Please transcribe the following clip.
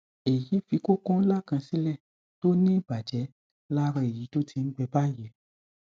èyí fi kókó ńlá kan sílẹ tó ní ìbàjẹ lára èyí tó ti ń gbẹ báyìí